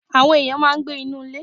Àwọn ènìyàn máa ń gbé inú ilé.